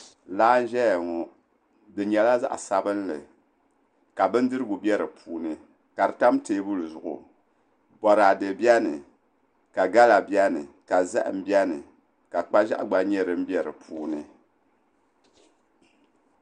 Laa n ʒɛya ŋo di nyɛla zaɣ sabinli ka bindirigu bɛ di puuni ka di tam teebuli zuɣu boraadɛ bɛni ka gala bɛni ka zaham buni ka kpa ʒiɛɣu gba nyɛ din bɛ di puuni